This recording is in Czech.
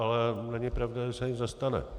Ale není pravda, že se nic nestane.